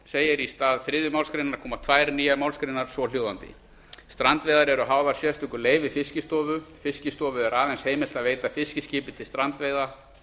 b í stað þriðju málsgrein koma tvær nýjar málsgreinar svohljóðandi strandveiðar eru háðar sérstöku leyfi fiskistofu fiskistofu er aðeins heimilt að veita fiskiskipi leyfi til strandveiða